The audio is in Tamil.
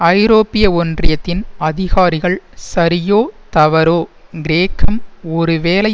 ஐரோப்பிய ஒன்றியத்தின் அதிகாரிகள் சரியோ தவறோ கிரேக்கம் ஒருவேளை